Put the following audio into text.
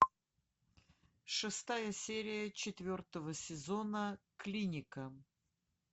шестая серия четвертого сезона клиника